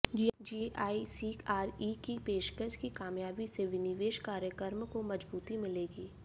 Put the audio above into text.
GIC RE की पेशकश की कामयाबी से विनिवेश कार्यक्रम को मजबूती मिलेगी